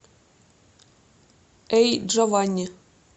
эй джованни